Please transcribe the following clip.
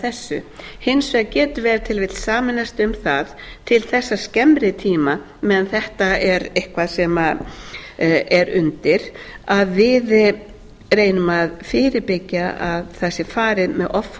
hins vegar getum við ef til vill sameinast um það til þessa skemmri tíma meðan þetta er eitthvað sem er undir að við reynum að fyrirbyggja að það sé farið með offorsi inn á